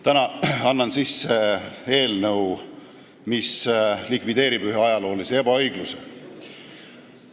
Täna annan sisse eelnõu, mis likvideerib ühe ajaloolise ebaõigluse.